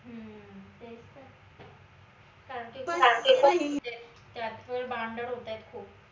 तेच त त्याचे पण lत्यांचे भांडण होतायत खूप